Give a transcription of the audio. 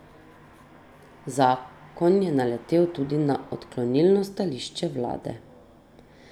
Zakon je naletel tudi na odklonilno stališče vlade.